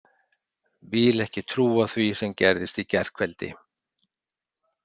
Vil ekki trúa því sem gerðist í gærkveldi.